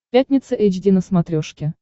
пятница эйч ди на смотрешке